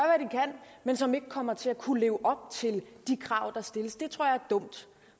men som ikke kommer til at kunne leve op til de krav der stilles det tror jeg er dumt